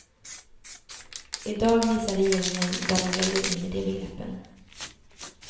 I dag visar regeringen vad den lägger in i de begreppen.